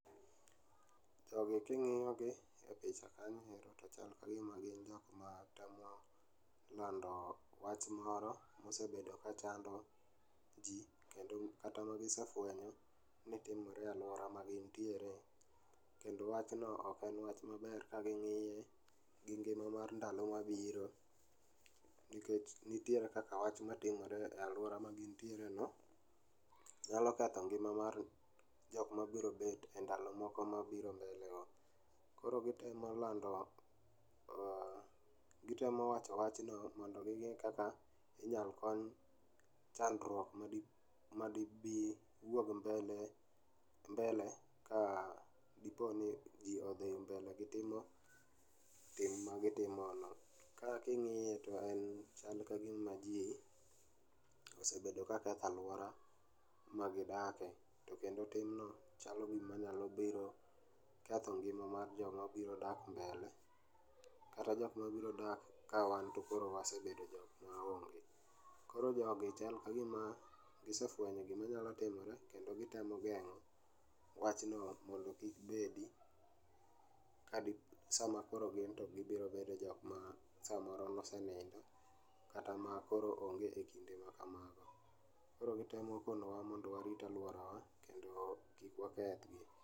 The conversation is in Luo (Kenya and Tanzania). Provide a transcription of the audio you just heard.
Jogi king'iyo gi e picha kanyo ero to chal ka gima gin joma temo lando wach moro mosebendo ka chando ji kata ma gisefwenyo ni timre e alwora ma gin tiere kendo wachno ok en en wach maber ka gi ng'ie e ngima mar ndalo ma biro nnitiere kaka wach ma timore e alwora ma gin tiereno nyalo ketho ngima jok ma biro bet e ndalo mabiro mbele go koro gitemo lando mh gitemo wacho wachno mondo go ne kaka inyalo kony chandrwok ma di bi ma di wuog mbele mbele kadipo ni ji odhi mbele gi timo tim ma gi timo no ,ka kingie to en kama ji osebedo ka ketho olwora ma gidake to kendo timno chalo gima nyalo biro ketho ng'ima mar joma biro dak mbele kata jok ma biro dak ka wan to wase bedo jok ma onge, koro jogi chal ka gima gisefuenyo gik ma nyalo timore koro gitemo geng'o wachno mondo kik bedi kadi sama koro gibiro bedo joma samoro nosenindo kata koro onge e kinde ma kamago. Koro gitimo kanowa mondo warit aluora wa kendo kik wakethe.